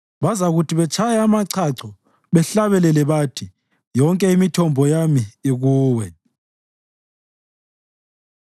Bazakuthi betshaya amachacho bahlabele bathi, “Yonke imithombo yami ikuwe.”